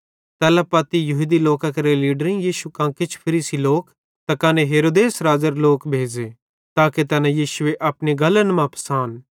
तैल्ला पत्ती यहूदी लोकां केरे लीडरेईं यीशु कां किछ फरीसी लोक त कने हेरोदेस राज़ेरे लोक भेज़े ताके तैना यीशुए अपनी गल्लन मां फसान